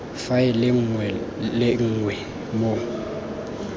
faele nngwe le nngwe mo